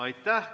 Aitäh!